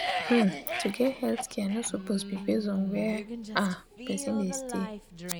hmm to get healthcare no suppose be base on where ah person dey stay.